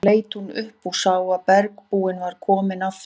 Loks leit hún upp og sá að bergbúinn var kominn aftur.